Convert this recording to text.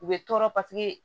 U bɛ tɔɔrɔ paseke